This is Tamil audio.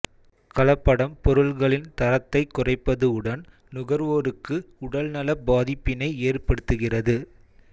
கலப்படம் பொருள்களின் தரத்தைக் குறைப்பது உடன் நுகர்வோருக்கு உடல்நலப் பாதிப்பினை ஏற்படுத்துகிறது